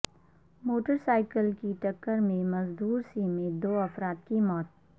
motor cycle کی ٹکر میں مزدور سمیت دو افرادکی موت